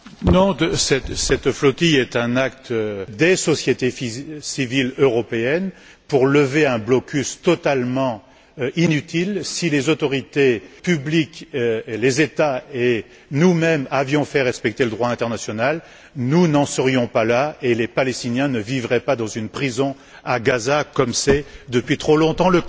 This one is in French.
Non, cette flottille est un acte des sociétés civiles européennes pour lever un blocus totalement inutile. Si les autorités publiques, les États et nous mêmes avions fait respecter le droit international, nous n'en serions pas là et les Palestiniens ne vivraient pas dans une prison à Gaza, comme c'est le cas depuis trop longtemps.